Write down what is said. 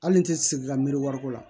Hali n'i tɛ sigi ka miiri wari ko la